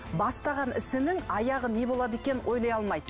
бастаған ісінің аяғы не болады екенін ойлай алмайды